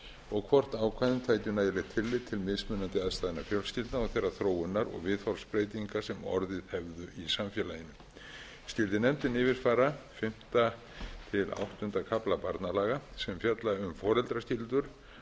og hvort ákvæðin taki nægilegt tillit til mismunandi aðstæðna fjölskyldna og þeirrar þróunar og viðhorfsbreytinga sem orðið hefðu í samfélaginu skyldi nefndin yfirfara fimmta til áttunda kafla barnalaga sem fjalla um